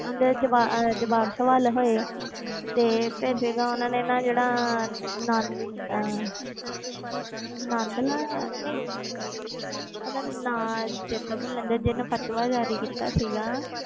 ਉਹਨਾਂ ਦੇ ਜਵਾ~ ਅਹ ਜਵਾਬ ਸਵਾਲ ਹੋਏ ਤੇ ਫਿਰ ਜਦੋਂ ਉਹਨਾਂ ਨੇ ਨਾ ਜਿਹੜਾ ਨੰਨ ਅਹ ਨੰਦ ਲਾਲ ਆਇਆ ਨਹੀਂ ਉਹਦਾ ਨਾਂ ਚੇਤਾ ਭੁੱਲ ਜਾਂਦਾ ਜਿਹਨੇ ਫ਼ਤਵਾ ਜ਼ਾਰੀ ਕੀਤਾ ਸੀਗਾ